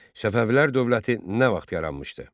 Səfəvilər dövləti nə vaxt yaranmışdı?